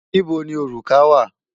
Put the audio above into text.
Níbo ni òrùka wà?